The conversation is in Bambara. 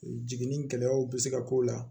Jiginni gɛlɛyaw bɛ se ka k'o la